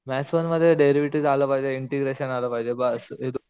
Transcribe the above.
maths one मध्ये derivative आलं पाहिजे ईंटेग्रेशन आलं पाहिजे बस